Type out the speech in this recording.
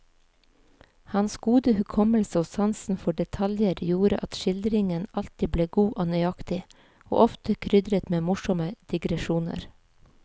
Hans gode hukommelse og sansen for detaljer gjorde at skildringen alltid ble god og nøyaktig, og ofte krydret med morsomme digresjoner.